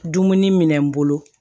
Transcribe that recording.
Dumuni minɛ n bolo